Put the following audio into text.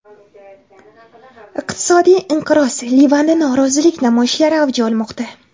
Iqtisodiy inqiroz: Livanda norozilik namoyishlari avj olmoqda.